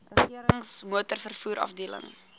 regerings motorvervoer afdeling